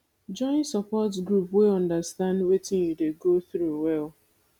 join support group wey understand wetin you dey go through well